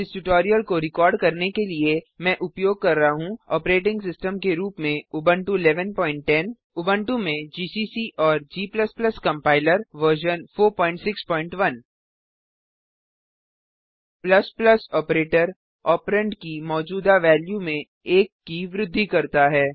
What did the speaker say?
इस ट्यूटोरियल को रिकॉर्ड करने के लिए मैं उपयोग कर रहा हूँ ऑपरेटिंग सिस्टम के रूप में उबुंटू 1110 उबुंटू में जीसीसी और g compiler version 461 operator operand की मौजूदा वेल्यू में एक की वृद्धि करता है